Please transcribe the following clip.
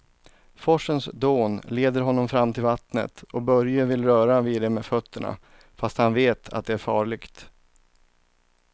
Forsens dån leder honom fram till vattnet och Börje vill röra vid det med fötterna, fast han vet att det är farligt.